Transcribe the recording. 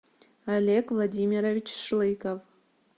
олег владимирович шлыков